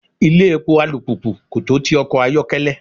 Ilé epo alùpùpù kò tó ti ọkọ̀ ayokele.